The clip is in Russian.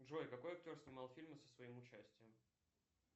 джой какой актер снимал фильмы со своим участием